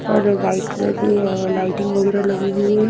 पर white colour की अ लाइटिंग वगैरह लगी हुई है।